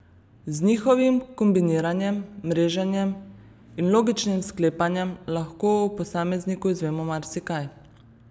Z njihovim kombiniranjem, mreženjem in logičnim sklepanjem lahko o posamezniku izvemo marsikaj.